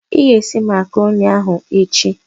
Ị ga-esi Makroni ahụ echi!